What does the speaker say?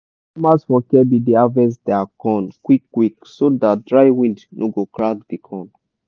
farmers for kebbi dey harvest dia corn quick quick so dat dry wind no go crack di corn.